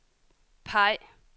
peg